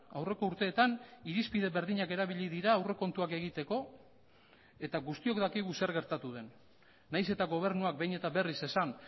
aurreko urteetan irizpide berdinak erabili dira aurrekontuak egiteko eta guztiok dakigu zer gertatu den nahiz eta gobernuak behin eta berriz esan